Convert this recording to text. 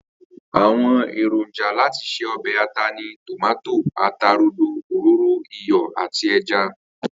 Àwo̩n èrònjà láti se o̩bè̩ ata ni tòmáto, ata rodo, òróró, iyò̩ àti e̩ja